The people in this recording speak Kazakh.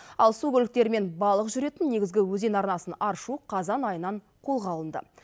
ал су көліктері мен балық жүретін негізгі өзен арнасын аршу қазан айынан қолға алынды